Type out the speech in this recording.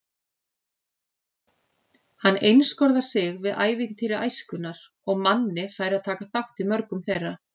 Hann einskorðar sig við ævintýri æskunnar og Manni fær að taka þátt í mörgum þeirra.